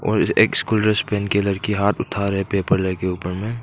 और एक school dress पहन के लड़की हाथ उठा रहा है पेपर लेकर ऊपर में।